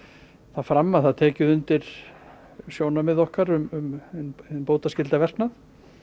það fram að það tekið undir sjónarmið okkar um bótaskyldan verknað